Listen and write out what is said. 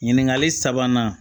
Ɲininkali sabanan